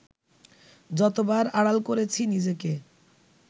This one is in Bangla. যতবার আড়াল করেছি নিজেকে